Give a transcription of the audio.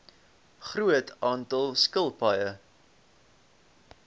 groot aantal skilpaaie